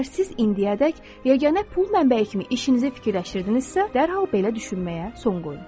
Əgər siz indiyədək yeganə pul mənbəyi kimi işinizi fikirləşirdinizsə, dərhal belə düşünməyə son qoyun.